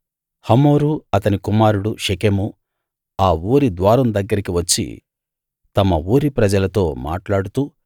హమోరూ అతని కుమారుడు షెకెమూ ఆ ఊరి ద్వారం దగ్గరికి వచ్చి తమ ఊరి ప్రజలతో మాట్లాడుతూ